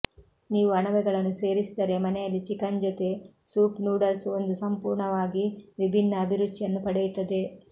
ನೀವು ಅಣಬೆಗಳನ್ನು ಸೇರಿಸಿದರೆ ಮನೆಯಲ್ಲಿ ಚಿಕನ್ ಜೊತೆ ಸೂಪ್ ನೂಡಲ್ಸ್ ಒಂದು ಸಂಪೂರ್ಣವಾಗಿ ವಿಭಿನ್ನ ಅಭಿರುಚಿಯನ್ನು ಪಡೆಯುತ್ತದೆ